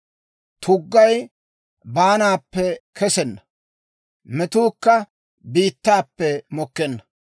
Tuggay baanaappe kesenna; metuukka biittaappe mokkenna.